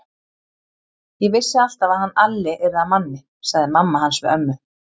Ég vissi alltaf að hann Alli yrði að manni, sagði mamma hans við ömmu.